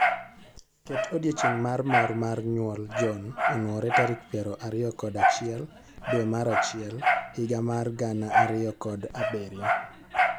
Ket odiechieng' mar mor mar nyuol John onwore tarik piero ariyo kod achiel dwe mar achiel higa mar gana ariyo kod abirio.